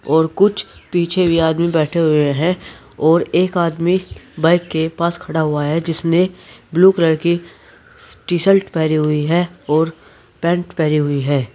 और कुछ पीछे भी आदमी बैठे हुए हैं और एक आदमी बाइक के पास खड़ा हुआ है जिसने ब्लू कलर की टी शर्ट पहनी हुई है और पैंट पहनी हुई है।